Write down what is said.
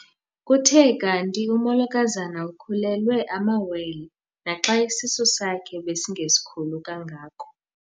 Kuthe kanti umolokazana ukhulelwe amawele naxa isisu sakhe besingesikhulu kangako.